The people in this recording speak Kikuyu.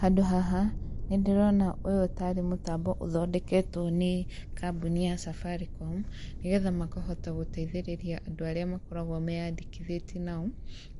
Handũ haha nĩndĩrona ũyũ tarĩ mũtambo ũthondeketwo nĩ kambuni ya Safaricom, nĩgetha makahota gũteithĩrĩria andũ arĩa makoragwo meyandĩkithĩtie nao,